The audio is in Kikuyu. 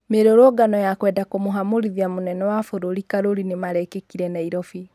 Mĩrũrũngano ya kwenda kũmũhamurithia mũnene wa bũrũri Karuri nĩmarekĩkire Nairobi